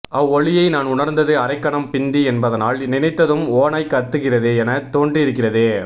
அவ்வொலியை நான் உணர்ந்தது அரைக்கணம் பிந்தி என்பதனால் நினைத்ததும் ஓநாய் கத்துகிறது என தோன்றியிருக்கிறது